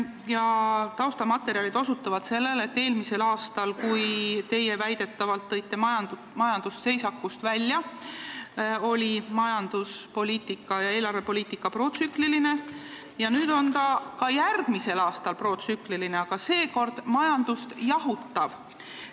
Ja taustamaterjalid osutavad sellele, et eelmisel aastal, kui teie väidetavalt tõite majanduse seisakust välja, oli majanduspoliitika ja eelarvepoliitika protsükliline ja see on ka järgmisel aastal protsükliline, aga seekord majandust jahutav.